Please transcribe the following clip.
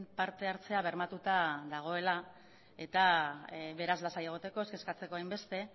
parte hartzea bermatuta dagoela eta beraz lasai egoteko ez kexatzeko hainbeste